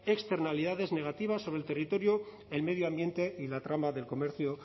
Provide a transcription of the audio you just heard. externalidades negativas sobre el territorio el medio ambiente y la trama del comercio